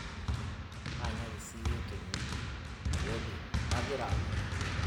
taanyuaki siiyie tene te wodi kaagira aalotu